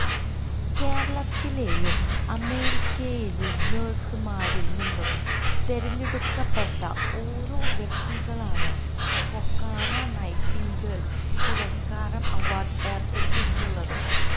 കേരളത്തിലെയും അമേരിക്കയിലെയും നേഴ്സ്മാരില് നിന്നും തെരഞ്ഞടുക്കപ്പെട്ട് ഓരോ വ്യക്തികള്ക്കാണ് ഫൊക്കാന നൈറ്റിംഗേല് പുരസ്കാരം അവാര്ഡ് ഏര്പ്പെടുത്തിയിട്ടുള്ളത്